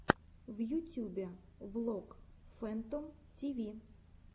в ютюбе влог фэнтом тиви